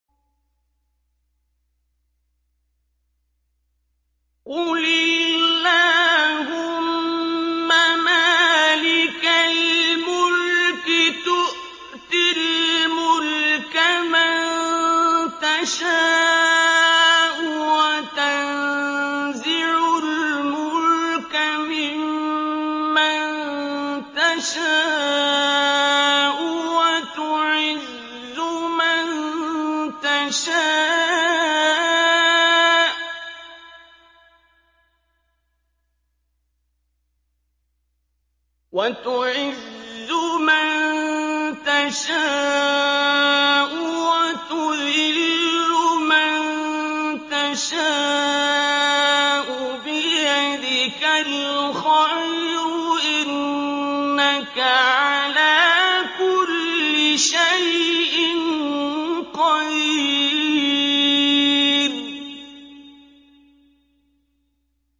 قُلِ اللَّهُمَّ مَالِكَ الْمُلْكِ تُؤْتِي الْمُلْكَ مَن تَشَاءُ وَتَنزِعُ الْمُلْكَ مِمَّن تَشَاءُ وَتُعِزُّ مَن تَشَاءُ وَتُذِلُّ مَن تَشَاءُ ۖ بِيَدِكَ الْخَيْرُ ۖ إِنَّكَ عَلَىٰ كُلِّ شَيْءٍ قَدِيرٌ